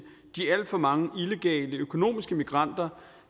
de alt for mange illegale økonomiske migranter